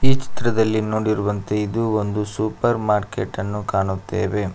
ಈ ಚಿತ್ರದಲ್ಲಿ ನೋಡಿರುವಂತೆ ಇದು ಒಂದು ಸೂಪರ್ ಮಾರ್ಕೆಟ್ ಅನ್ನು ಕಾಣುತ್ತೇವೆ.